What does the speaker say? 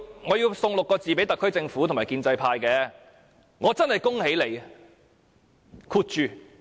我要送6個字給特區政府和建制派：我真係恭喜你。